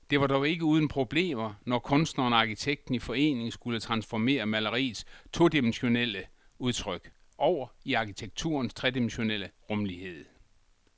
Det var dog ikke uden problemer, når kunstneren og arkitekten i forening skulle transformere maleriets todimensionelle udtryk over i arkitekturens tredimensionelle rumlighed.